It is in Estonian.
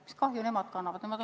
Mis kahju nemad kannavad?